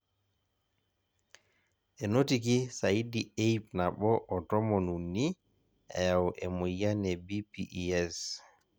enotiki saidi e ip nabo o tomon uni eyau emoyian e BPES